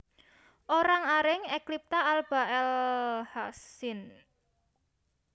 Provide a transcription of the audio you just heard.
Orang aring Eclipta alba L Hassk sin